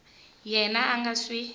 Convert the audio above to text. yena a a nga swi